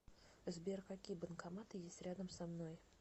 сбер какие банкоматы есть рядом со мной